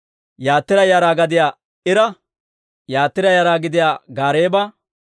Yatira yara gidiyaa Ira, Yatira yara gidiyaa Gaareeba,